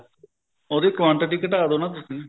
ਉਹਦੀ quantity ਘੱਟਾ ਦੋ ਨਾ ਤੁਸੀਂ